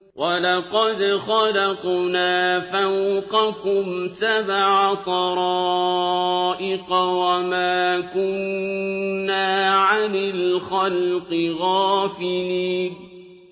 وَلَقَدْ خَلَقْنَا فَوْقَكُمْ سَبْعَ طَرَائِقَ وَمَا كُنَّا عَنِ الْخَلْقِ غَافِلِينَ